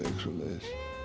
svoleiðis